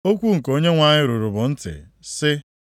Okwu nke Onyenwe anyị ruru m ntị, sị,